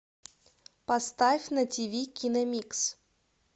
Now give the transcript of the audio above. поставь на ти ви кино микс